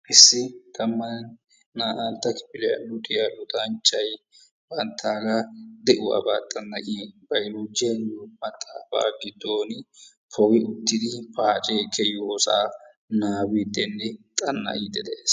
Issi tammanne naa"antta kifiliya luxiyaa luxanchchay banttaaga de'uwabaa xan'iya baylloojjiya giyo maaxaafaa giddon poggi uttidi paacee kiyossaa nabbabiidinne xana'iidi dees.